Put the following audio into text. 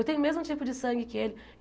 Eu tenho o mesmo tipo de sangue que ele.